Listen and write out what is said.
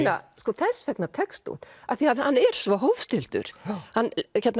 þess vegna tekst hún af því hann er svo hófstilltur hann